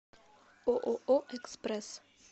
ооо экспресс